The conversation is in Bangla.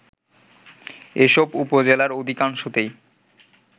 এসব উপজেলার অধিকাংশতেই